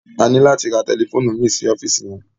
A ní láti ra tẹlifóònù mìí sí ọ́fíìsì yẹn.